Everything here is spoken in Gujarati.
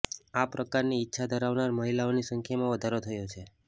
આ પ્રકારની ઇચ્છા ધરાવનાર મહિલાઓની સંખ્યામાં વધારો થયો છે